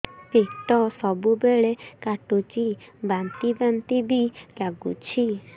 ପେଟ ସବୁବେଳେ କାଟୁଚି ବାନ୍ତି ବାନ୍ତି ବି ଲାଗୁଛି